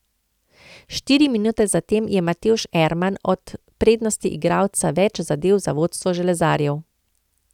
Štiri minute zatem je Matevž Erman ob prednosti igralca več zadel za vodstvo železarjev.